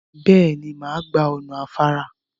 Bẹ́ẹ̀ ni, màá gba ọ̀nà afára.